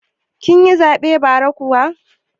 Kin yi zaɓen bara kuwa?